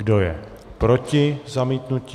Kdo je proti zamítnutí?